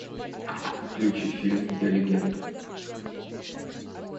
включи фильм я легенда